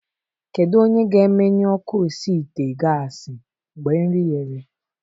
Kedu onye ga-emenyụ ọkụ na osi ite gasị mgbe nri ghere?